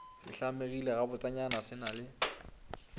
se hlamegile gabotsenyana se na